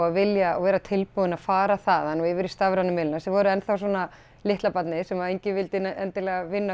að vilja og vera tilbúin að fara þaðan og yfir í stafrænu miðlana sem voru enn þá svona litla barnið sem enginn vildi endilega vinna